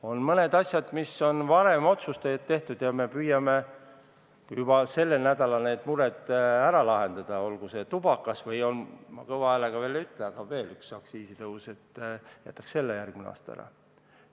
On mõned asjad, mis on varem otsustatud, ja me püüame juba sellel nädalal need mured ära lahendada, olgu see tubakas või – ma kõva häälega veel ei ütle –, veel üks aktsiisitõus, mille jätaks ehk järgmine aasta ära.